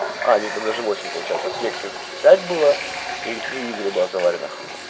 а не там даже восемь получается в кексе пять было или три игры было завареных